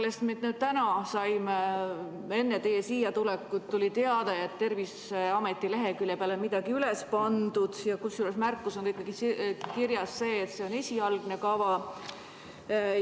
Me saime alles täna enne teie siia tulekut teate, et Terviseameti leheküljele on midagi üles pandud, kusjuures märkusena on seal ikkagi kirjas, et see on esialgne kava.